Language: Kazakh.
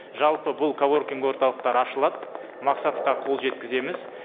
жалпы бұл коворкинг орталықтары ашылады мақсатқа қол жеткіземіз